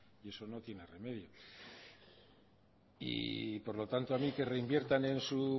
y eso no tiene remedio y por lo tanto a mí que reinviertan en su